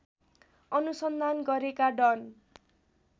अनुसन्धान गरेका डन